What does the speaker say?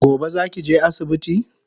Gobe zaki je asibiti?